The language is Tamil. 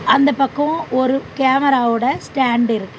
அந்தப் பக்கோ ஒரு கேமராவோட ஸ்டாண்ட் இருக் --